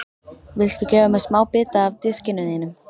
Viltu gefa mér smábita af diskinum þínum?